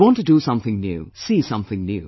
They want to do something new, see something new